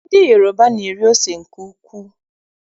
Ndị Yoroba na-eri ose nke ukwuu.